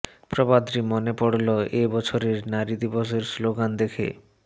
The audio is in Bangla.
প্রবাদটি মনে পড়লো এ বছরের নারী দিবসের স্লোগান দেখে